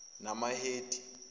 namahedi